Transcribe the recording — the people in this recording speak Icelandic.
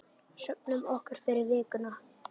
Söfnum orku fyrir vikuna.